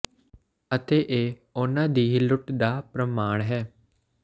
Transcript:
ਅਤੇ ਇਹ ਉਨ੍ਹਾਂ ਦੀ ਹੀ ਲੁੱਟ ਦਾ ਪ੍ਰਮਾਣ ਹੈ